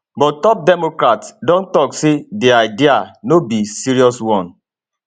but top democrats don tok say di idea no be serious one